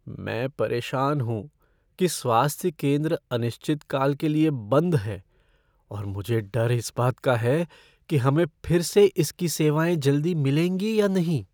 मैं परेशान हूँ कि स्वास्थ्य केंद्र अनिश्चित काल के लिए बंद है और मुझे डर इस बात का है कि हमें फिर से इसकी सेवाएँ जल्दी मिलेंगी या नहीं।